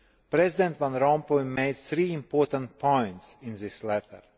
President Van Rompuy made three important points in this letter.